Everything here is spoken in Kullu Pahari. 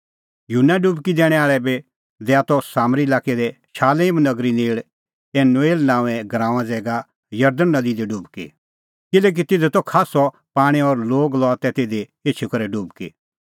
युहन्ना डुबकी दैणैं आल़अ बी दैआ त सामरी लाक्कै दी शालेम नगरी नेल़ एनोन नांओंए गराऊंए ज़ैगा जरदण नदी दी डुबकी किल्हैकि तिधी त खास्सअ पाणीं और लोग लआ तै तिधी एछी करै डुबकी